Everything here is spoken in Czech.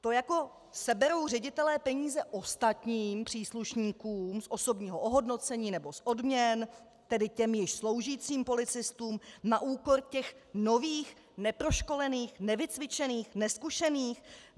To jako seberou ředitelé peníze ostatním příslušníkům z osobního ohodnocení nebo z odměn, tedy těm již sloužícím policistům, na úkor těch nových, neproškolených, nevycvičených, nezkušených?